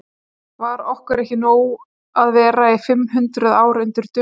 Var okkur ekki nóg að vera í fimm hundruð ár undir Dönum?